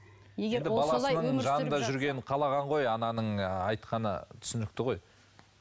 жанында жүргенін қалаған ғой ананың айтқаны түсінікті ғой